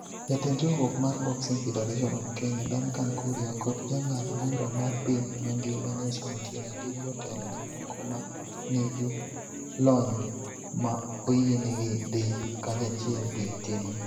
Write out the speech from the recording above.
Jatend riwruok mar Boxing Federation of Kenya Duncan Kuria kod jang'ad bura mar piny mangima Nelson Otieno gin jotelo mamoko ma nigi lony ma oyienegi dhi kanyachiel gi timno.